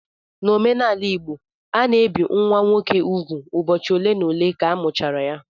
N' omenala igbo, a na-ebi nwa nwoke úgwù ụbọchị ole na ole ka amụchara ya